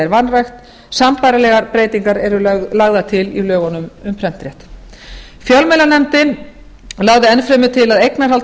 vanrækt sambærilegar breytingar eru lagðar til í lögunum um prentréttinn fjölmiðlanefndin lagði enn fremur til að eignarhald á